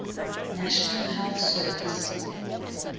national health service